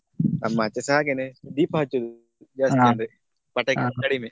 ನಮ್ಮಾಚೆಸ ಹಾಗೆನೇ ದೀಪ ಹಚ್ಚುದು ಜಾಸ್ತಿ ಅದೆ ಪಟಾಕಿ ಎಲ್ಲ ಕಡಿಮೆ.